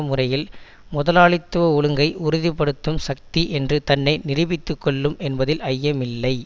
முறையில் முதலாளித்துவ ஒழுங்கை உறுதிபடுத்தும் சக்தி என்று தன்னை நிரூபித்து கொள்ளும் என்பதில் ஐயமில்லை